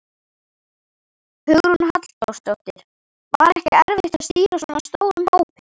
Hugrún Halldórsdóttir: Var ekkert erfitt að stýra svona stórum hópi?